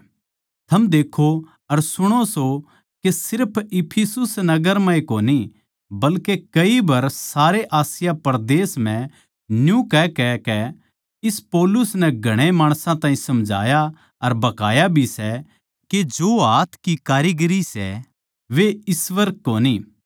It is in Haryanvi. थम देक्खो अर सुणो सो के सिर्फ इफिसुस नगर म्ह ए कोनी बल्के कई बर सारे आसिया परदेस म्ह न्यू कहकहकै इस पौलुस नै घणे माणसां ताहीं समझाया अर भकाया भी सै के जो हाथ की कारीगरी सै वे ईश्‍वर कोनी